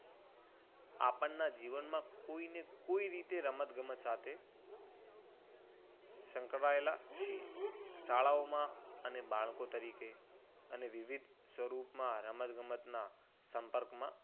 આપણના જીવનમાં કોઈને કોઈ રીતે રમત ગમત સાથે સંકળાયેલા છીએ. શાળાઓમાં અને બાળકો તરીકે અને વિવિધ સ્વરૂપમાં રમતગમતના સંપર્કમાં